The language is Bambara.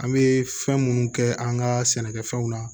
An bɛ fɛn minnu kɛ an ka sɛnɛkɛfɛnw na